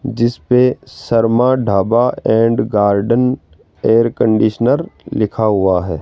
जिस पे Sharma dhaba and garden air conditioner लिखा हुआ है।